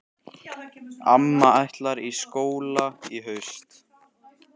Amma ætlar í skóla í haust.